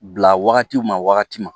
Bila wagatiw ma wagati ma